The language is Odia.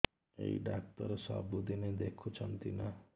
ଏଇ ଡ଼ାକ୍ତର ସବୁଦିନେ ଦେଖୁଛନ୍ତି ନା